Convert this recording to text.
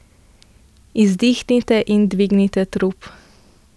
Izdihnite in dvignite trup.